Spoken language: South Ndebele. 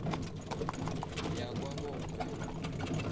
yakwabongwe